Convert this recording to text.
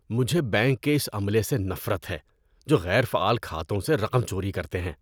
مجھے بینک کے اس عملے سے نفرت ہے جو غیر فعال کھاتوں سے رقم چوری کرتے ہیں۔